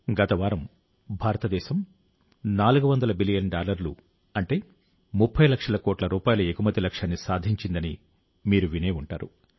గత వారం భారతదేశం 400 బిలియన్ డాలర్ల అంటే 30 లక్షల కోట్ల రూపాయల ఎగుమతి లక్ష్యాన్ని సాధించిందని మీరు వినే ఉంటారు